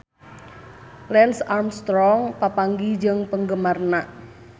Lance Armstrong papanggih jeung penggemarna